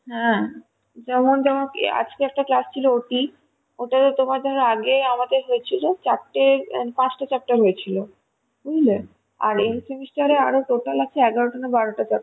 হ্যাঁ যেমন তমা~ আজকে একটা class ছিল OT ওটাতে যেমন ধরো আগে আমাদের হয়েছিল পাঁচটা চারটে হয়েছিল বুঝলে আর এই semester তে total আছে এগারোটা না বারোটা chapter